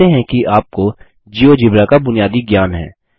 हम मानते हैं कि आपको जियोजेब्रा का बुनियादी ज्ञान है